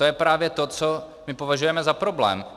To je právě to, co my považujeme za problém.